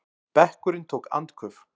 Bekkurinn tók andköf.